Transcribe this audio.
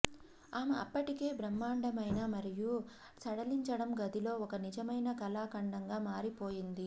ఆమె అప్పటికే బ్రహ్మాండమైన మరియు సడలించడం గదిలో ఒక నిజమైన కళాఖండంగా మారిపోయింది